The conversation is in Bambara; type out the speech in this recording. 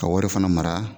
Ka wari fana mara